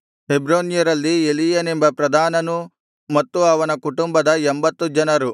ಹೆಬ್ರೋನ್ಯರಲ್ಲಿ ಎಲೀಯೇಲನೆಂಬ ಪ್ರಧಾನನೂ ಮತ್ತು ಅವನ ಕುಟುಂಬದ ಎಂಭತ್ತು ಜನರು